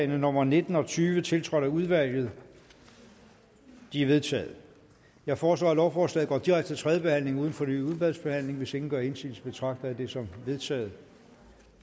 nummer nitten og tyve tiltrådt af udvalget de er vedtaget jeg foreslår at lovforslaget går direkte til tredje behandling uden fornyet udvalgsbehandling hvis ingen gør indsigelse betragter jeg dette som vedtaget